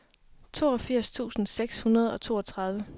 toogfirs tusind seks hundrede og toogtredive